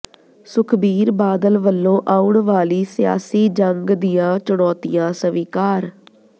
ਸੁਖਬੀਰ ਬਾਦਲ ਵੱਲੋਂ ਆਉਣ ਵਾਲੀ ਸਿਆਸੀ ਜੰਗ ਦੀਆਂ ਚੁਣੌਤੀਆਂ ਸਵੀਕਾਰ